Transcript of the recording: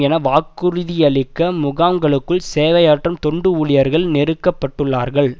என வாக்குறுதியளிக்க முகாங்களுக்குள் சேவையாற்று தொண்டு ஊழியர்கள் நெருக்கப்பட்டுள்ளார்கள்